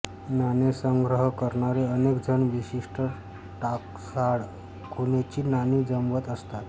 नाणेसंग्रह करणारे अनेक जण विशिष्ट टांकसाळ खुणेची नाणी जमवत असतात